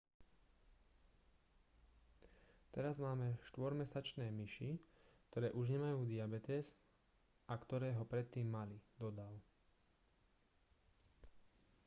teraz máme 4-mesačné myši ktoré už nemajú diabetes a ktoré ho predtým mali dodal